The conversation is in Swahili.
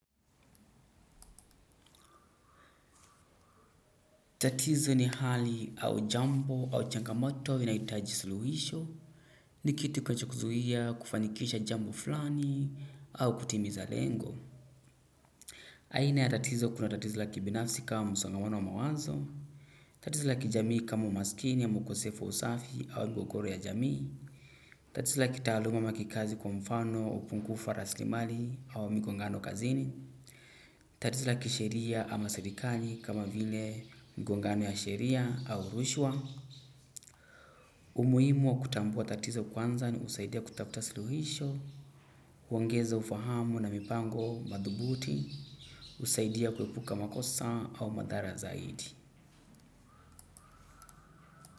Tatizo ni hali au jambo au changamoto inahitaji suluhisho, ni kitu kinachokuzuia kufanikisha jambo fulani au kutimiza lengo. Aina ya tatizo kuna tatizo la kibinafsi kama msongomano wa mawazo, tatizo la kijamii kama umaskini ama ukosefu usafi au mgogoro ya jamii, tatizo la kiataluma ama kikazi kwa mfano upungufu wa raslimali au migongano kazini, tatizo la kisheria ama serikali kama vile mgongano ya sheria au rushwa, umuhimu wa kutambua tatizo kwanza ni kusaidia kutafuta suluhisho, uongeza ufahamu na mipango madhubuti, husaidia kuepuka makosa au madhara zaidi.